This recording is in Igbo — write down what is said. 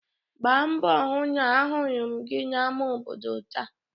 gbaa mbọ hụ na ahụrụ m gị n'ámá obodo taa